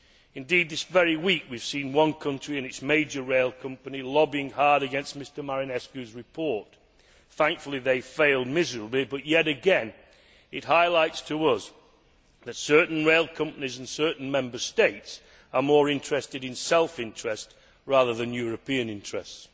Indeed, this very week, we have seen one country and its major rail company lobbying hard against Mr Marinescu's report. Thankfully, they failed miserably, but yet again it highlights to us that certain rail companies and certain Member States are more concerned with self interest rather than European interests.